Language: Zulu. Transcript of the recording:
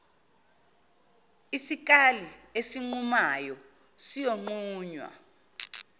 isikali esinqumayo siyonqunywa